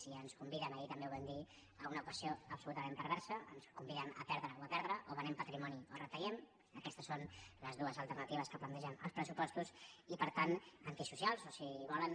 i ens conviden ahir també ho vam dir a una equació absolutament perversa ens conviden a perdre o a perdre o venem patrimoni o retallem aquestes són les dues alternatives que plantegen als pressupostos i per tant antisocials o sigui volen